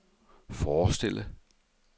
forestille